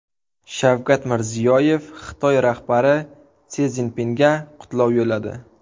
Shavkat Mirziyoyev Xitoy rahbari Si Szinpinga qutlov yo‘lladi.